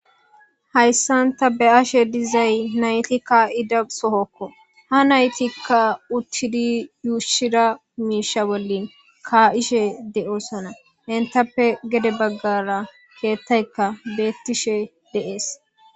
hayssanta be ashe dizay nayti kaa7ida sohokko ha naytikka uttidi yuushida miisha bollin kaa7ishe de7osana entappe gede baggara keettayka beettishe de7ees.